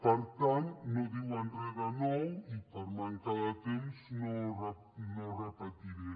per tant no diuen re de nou i per manca de temps no ho repetiré